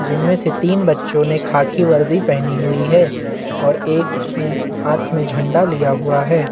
जिनमें से तीन बच्चो ने खाकी वर्दी पहनी हुई है और एक ने हाथ में झंडा लिया हुआ है।